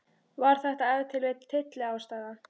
Var þetta ef til vill tylliástæða?